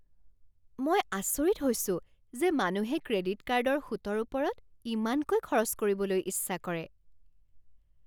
মই আচৰিত হৈছোঁ যে মানুহে ক্ৰেডিট কাৰ্ডৰ সুতৰ ওপৰত ইমানকৈ খৰচ কৰিবলৈ ইচ্ছা কৰে।